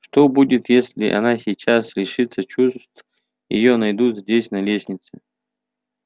что будет если она сейчас лишится чувств и её найдут здесь на лестнице